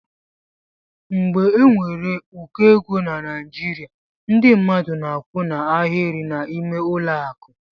Mgbe enwere ụkọ égo na Naijiria ndị mmadụ na akwụ n' Ahiri n'ime ụlọ akụ.